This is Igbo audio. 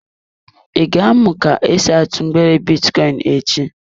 I ga-amụ ka esi atụ mgbere bitcoin echi?